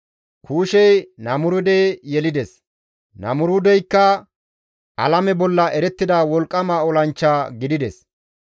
Kuushey Namuruude yelides; Namuruudeyka alame bolla erettida wolqqama olanchcha gidides.